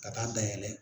Ka taa dayɛlɛ